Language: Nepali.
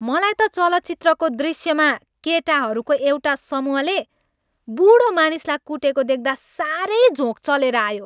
मलाई त चलचित्रको दृष्यमा केटाहरूको एउटा समूहले बुढा मानिसलाई कुटेको देख्दा साह्रै झोँक चलेर आयो।